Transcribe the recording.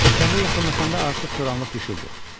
O kəndə yaxınlaşanda artıq toranlıq düşürdü.